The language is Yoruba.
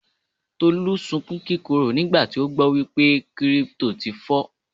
Tolú sunkún kíkorò nígbà tí ó gbọ́ wípé Kírípútò ti fọ́.